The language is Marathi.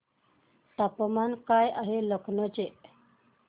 तापमान काय आहे लखनौ चे